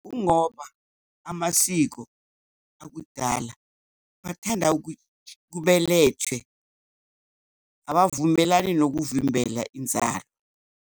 Kungoba amasiko akudala bathanda kubelethe, abavumelani nokuvimbela inzalo.